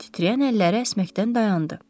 Titrəyən əlləri əsməkdən dayandı.